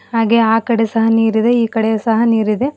ಹಾಗೆ ಆಕಡೆ ಸಹ ನೀರಿದೆ ಈಕಡೆ ಸಹ ನೀರಿದೆ.